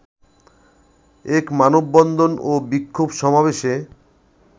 এক মানববন্ধন ও বিক্ষোভ সমাবেশে